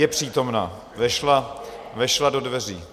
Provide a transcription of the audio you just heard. Je přítomna, vešla, vešla do dveří.